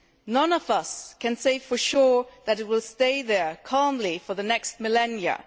None of us can say for sure that it will stay there, calmly for the next millennia.